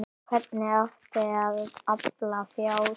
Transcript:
Hvernig átti að afla fjár?